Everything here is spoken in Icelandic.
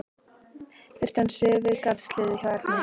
Þeir stönsuðu við garðshliðið hjá Erni.